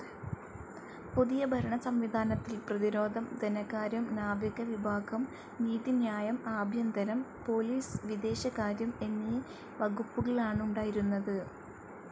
പുതിയ ഭരണസംവിധാനത്തിൽ പ്രതിരോധം, ധനകാര്യം, നാവികവിഭാഗം, നീതിന്യായം, ആഭ്യന്തരം, പോലീസ്, വിദേശകാര്യം എന്നീ വകുപ്പുകളാണുണ്ടായിരുന്നത്.